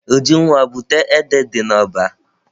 Ujunwa, bute ede dị n'ọba!